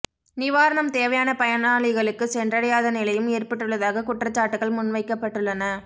நிவாரணம் தேவையான பயனாளிகளுக்கு சென்றடையாத நிலையும் ஏற்பட்டுள்ளதாக குற்றச்சாட்டுகள் முன்வைக்கப்பட்டுள்ளன